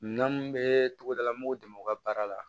Minɛn mun bɛ togoda la mɔgɔw dɛmɛ u ka baara la